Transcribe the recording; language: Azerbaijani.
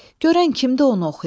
Görən kimdir onu oxuyan?